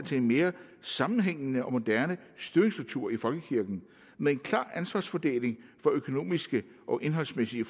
til en mere sammenhængende og moderne styringsstruktur i folkekirken med en klar ansvarsfordeling for økonomiske og indholdsmæssige